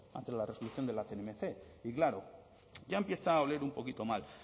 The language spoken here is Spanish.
ante la resolución de la cnmc y claro ya empieza a oler un poquito mal